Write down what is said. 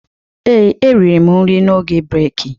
Ee, eriri m nri m n'oge breki